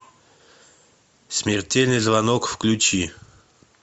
смертельный звонок включи